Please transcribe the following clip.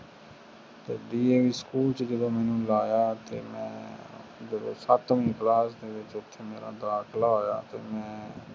ਤੇ ਦੀ ਸਕੂਲ ਵਿਚ ਜਦੋ ਮੈਨੂੰ ਲਾਯਾ ਤੇ ਉਥੇ ਅੱਠਵੀ ਕਲਾਸ ਵਿਚ ਅਮਰ ਅਦਖਲਾ ਹੋਇਆ ਉਡਾਨ ਮੇਂ